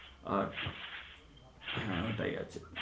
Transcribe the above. আচ্ছা হ্যাঁ ওটাই আছে